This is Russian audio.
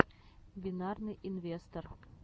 бинарный инвестор